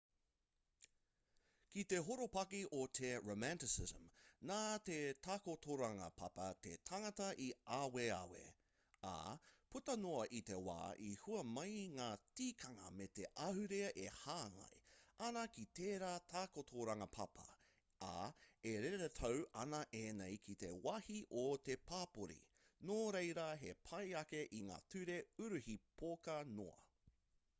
ki te horopaki o te romanticism nā te takotoranga papa te tangata i aweawe ā puta noa i te wā i hua mai ngā tikanga me te ahurea e hāngai ana ki tērā takotoranga papa ā e reretau ana ēnei ki te wāhi o te papori nō reira he pai ake i ngā ture uruhi poka noa